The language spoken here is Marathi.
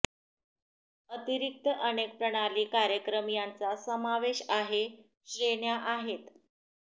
अतिरिक्त अनेक प्रणाली कार्यक्रम यांचा समावेश आहे श्रेण्या आहेत